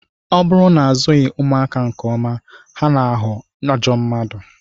Ọ bụrụ na azụghị ụmụaka nke ọma, ha na-aghọ ajọ mmadụ